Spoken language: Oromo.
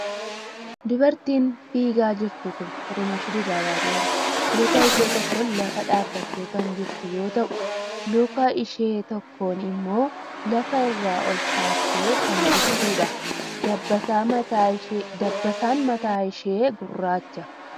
Dubartiin fiigaa jirtu kuni Xurunash Dibaabaa jedhamti. Luka ishee tokkoon lafa dhaabbattee kan jirtu yoo ta'u, luka ishee tokkoon immoo lafa irraa ol kaaftee kan jirtuudha. Dabbasaan mataa ishee gurraacha.